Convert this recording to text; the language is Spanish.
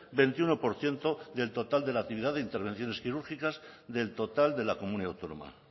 veintiuno por ciento del total de la actividad de intervenciones quirúrgicas del total de la comunidad autónoma